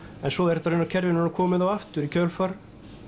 en svo er þetta kerfi raunar komið á aftur í kjölfar